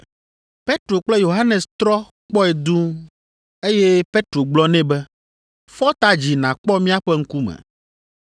Petro kple Yohanes trɔ kpɔe dũu, eye Petro gblɔ nɛ be, “Fɔ ta dzi nàkpɔ míaƒe ŋkume.”